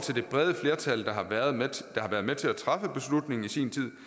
det brede flertal der har været med til at træffe beslutningen i sin tid